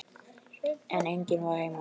En enginn var heima.